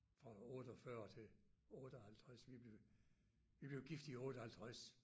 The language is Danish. Fra 48 til 58 vi blev vi blev gift i 58